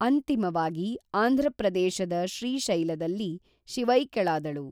ಅಂತಿಮವಾಗಿ ಆಂಧ್ರಪ್ರದೇಶದ ಶ್ರೀಶೈಲದಲ್ಲಿ ಶಿವೈಕ್ಯಳಾದಳು